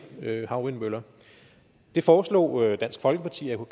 havvindmøller det foreslog dansk folkeparti og